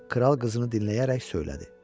Kral qızını dinləyərək söylədi.